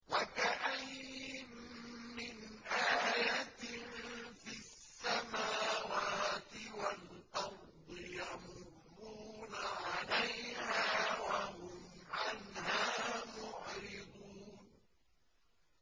وَكَأَيِّن مِّنْ آيَةٍ فِي السَّمَاوَاتِ وَالْأَرْضِ يَمُرُّونَ عَلَيْهَا وَهُمْ عَنْهَا مُعْرِضُونَ